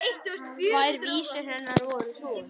Tvær vísur hennar voru svona: